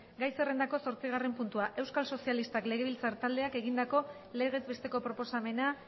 gai zerrendako zortzigarren puntua euskal sozialistak legebiltzar taldeak egindako legez besteko proposamena